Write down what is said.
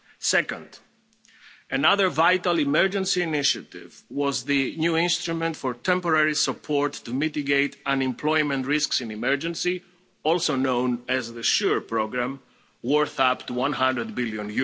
Second, another vital emergency initiative was the new instrument for temporary Support to mitigate Unemployment Risks in an Emergency, also known as the SURE programme, worth up to EUR 100 billion.